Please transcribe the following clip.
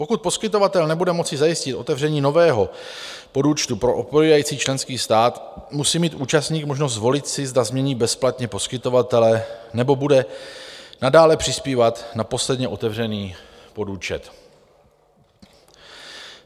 Pokud poskytovatel nebude moci zajistit otevření nového podúčtu pro odpovídající členský stát, musí mít účastník možnost zvolit si, zda změní bezplatně poskytovatele, nebo bude nadále přispívat na posledně otevřený podúčet.